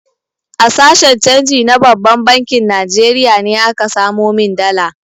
A sashen canji na babban bankin Najeriya ne aka samo min dala.